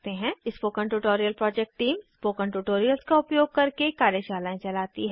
spoken tutorial project team spoken tutorials का उपयोग करके कार्यशालाएं चलाती है